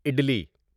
عدلی